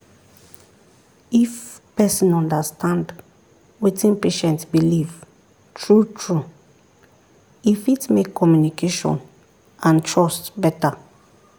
if person understand wetin patient believe true-true e fit make communication and trust better.